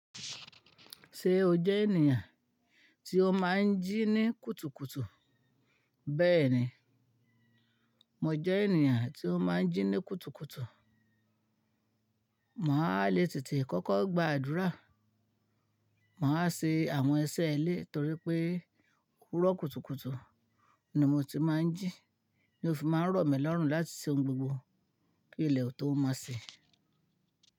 Ṣé o jẹ́ ènìyàn tí ó máa ń jí ní kùtùkùtù? Bẹ́ẹ̀ni, mo jẹ́ ènìyàn tí ó máa ń jí ní kùtùkùtù. Màá le tètè kọ́kọ́ gba àdúrà. Màá ṣe àwọn iṣẹ́ ilẹ́ torí pé òwúrọ̀ kùtùkùtù ni mo ti máa ń jí, ni òfin máa ń romi lọ́rùn láti ṣe ohun gbogbo pé ilẹ̀ ò tó máa ṣe.